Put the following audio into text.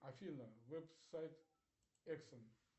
афина веб сайт эксен